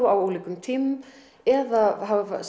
á ólíkum tímum eða